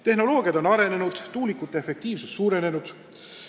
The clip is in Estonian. Tehnoloogiad on arenenud, tuulikute efektiivsus suurenenud.